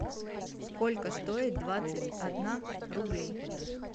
сколько стоит двадцать одна рублей